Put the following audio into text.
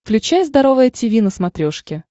включай здоровое тиви на смотрешке